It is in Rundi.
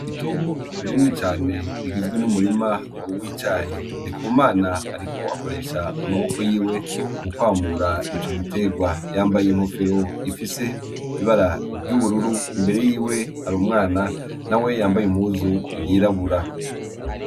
Itongo rinini cane rigizwe n'umurima w'icayi . Ndikumana ariko akoresha amaboko yiwe mu kwamura ico giterwa , yambay'inkofero ifise ibara ry'ubururu imbere yiwe har'umwana nawe yambay'impuzu yirabura.